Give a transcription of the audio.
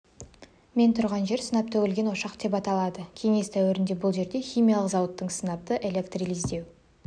мен тұрған жер сынап төгілген ошақ деп аталады кеңес дәуірінде бұл жерде химиялық зауыттың сынапты электролиздеу